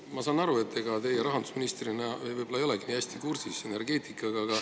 Ma saan aru, et ega teie rahandusministrina võib-olla ei olegi nii hästi kursis energeetikaga.